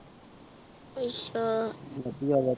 ਆਚਾ